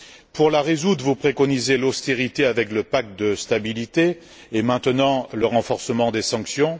Pour la résoudre, vous préconisez l'austérité avec le pacte de stabilité, et maintenant le renforcement des sanctions.